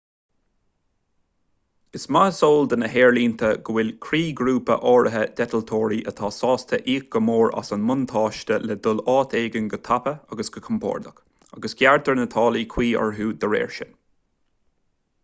is maith is eol do na haerlínte go bhfuil croíghrúpa áirithe d'eitleoirí atá sásta íoc go mór as an mbuntáiste le dul áit éigin go tapa agus go compordach agus gearrtar na táillí cuí orthu dá réir sin